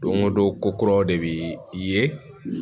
Don o don ko kuraw de bɛ ye